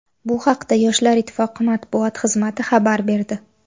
Bu haqda Yoshlar ittifoqi matbuot xizmati xabar berdi .